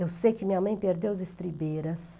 Eu sei que minha mãe perdeu as estribeiras.